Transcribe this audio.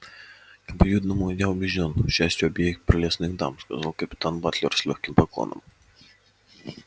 к обоюдному я убеждён счастью обеих прелестных дам сказал капитан батлер с лёгким поклоном